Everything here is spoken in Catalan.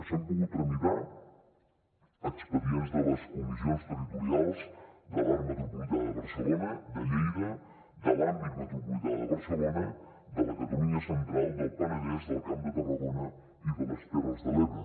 s’han pogut tramitar expedients de les comissions territorials de l’àrea metropolitana de barcelona de lleida de l’àmbit metropolità de barcelona de la catalunya central del penedès del camp de tarragona i de les terres de l’ebre